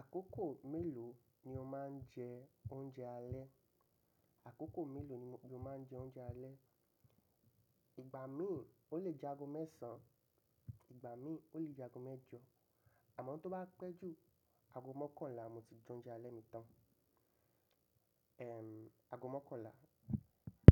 Àkókò mélòó ni o máa ń jẹ oúnjẹ alẹ́? Àkókò mélòó ni o máa ń jẹ oúnjẹ alẹ́? Ìgbà mí ò le jẹ ago mẹ́san. Ìgbà mí ò le jẹ ago mẹ́jọ, àmọ́ tó bá pẹ́ jù, ago mọ́kànlá mo ti jẹ oúnjẹ alẹ́ mi tán. Èm, ago mọ́kànlá.